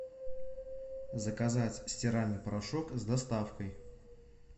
заказать стиральный порошок с доставкой